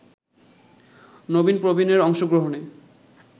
নবীন-প্রবীণের অংশগ্রহণে